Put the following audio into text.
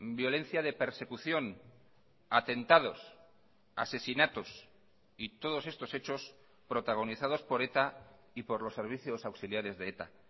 violencia de persecución atentados asesinatos y todos estos hechos protagonizados por eta y por los servicios auxiliares de eta